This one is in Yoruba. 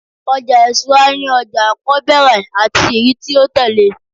ọja isura ni oja akọbẹrẹ ati eyi ti o tẹle